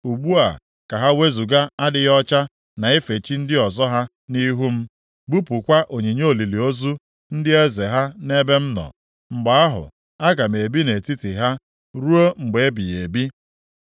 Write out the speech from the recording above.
Ugbu a, ka ha wezuga adịghị ọcha na ife chi ndị ọzọ ha nʼihu m, bupụkwa onyinye olili ozu ndị eze ha nʼebe m nọ, mgbe ahụ, aga m ebi nʼetiti ha ruo mgbe ebighị ebi.